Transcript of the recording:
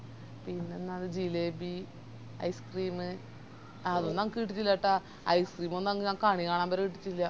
പിന്നെന്ന jalebi ice cream അതൊന്നും എനക്ക് കിട്ടീറ്റില്ലേട്ടാ ice cream ഒന്നും അന്ന് ഞാൻ കണികാണാൻ വരെ കിട്ടിറ്റില്ല